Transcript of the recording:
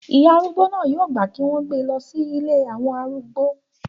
ìyá arúgbó náà yóò gbà kí wọ́n gbé e lọ sí ilé àwọn arúgbó